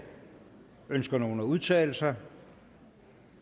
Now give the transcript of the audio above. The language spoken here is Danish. ønsker nogen at udtale sig